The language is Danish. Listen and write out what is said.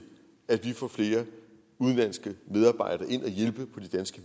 at vi får flere udenlandske medarbejdere ind og hjælpe på de danske